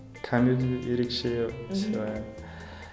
камеди ерекше сыйлаймын